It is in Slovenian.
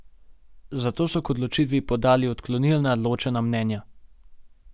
Zato so k odločitvi podali odklonilna ločena mnenja.